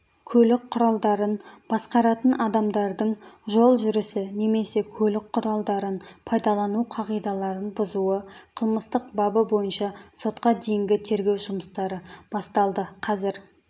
көлік құралдарын басқаратын адамдардың жол жүрісі немесе көлік құралдарын пайдалану қағидаларын бұзуы қылмыстық бабы бойынша сотқа дейінгі тергеу жұмыстары басталды қазір